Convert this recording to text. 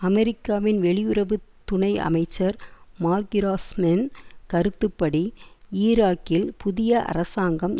அமெரிக்காவின் வெளியுறவு துணை அமைச்சர் மார்க்கிராஸ்மேன் கருத்துப்படி ஈராக்கில் புதிய அரசாங்கம்